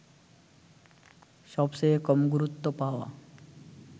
সবচেয়ে কম গুরুত্ব পাওয়া